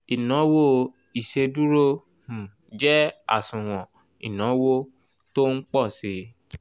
ìnawo ìsèdúró um jẹ́ àsùnwòn ìnáwó tó npọ̀ síi